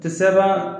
Tɛ sɛbɛn